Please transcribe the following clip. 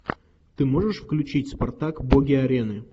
ты можешь включить спартак боги арены